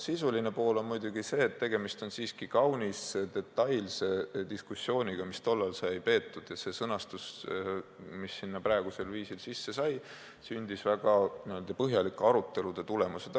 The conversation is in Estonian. Sisuline pool on muidugi see, et tegemist on siiski kaunis detailse diskussiooniga, mis tollal sai peetud, ja see sõnastus, mis sinna praegusel viisil sisse sai, sündis väga põhjalike arutelude tulemusel.